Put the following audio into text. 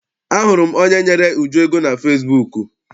Ahụrụ m onye ahụ nyere Uju ego na fesibuuku.